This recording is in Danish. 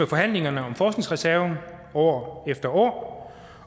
forhandlingerne om forskningsreserven år efter år